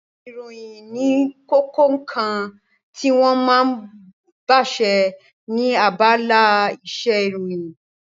Ìròyìn ní kókó ǹkan tí wọ́n ma ń báse ní abala isẹ́ ìròyìn